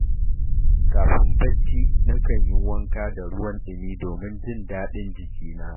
Kafin barci, nakan yi wanka da ruwan ɗumi domin jin daɗin jikina.